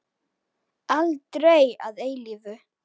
Aldrei að eilífu.